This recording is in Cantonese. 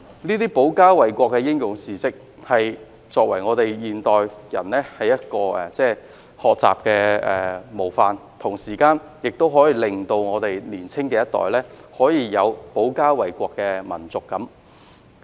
這些保家衞國的英勇事蹟，是現代人的學習模範，同時也可以令年青一代有保家衞國的民族感。